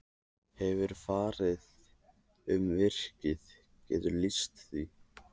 Hefurðu farið um virkið, geturðu lýst því?